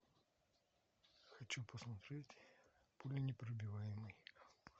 хочу посмотреть пуленепробиваемый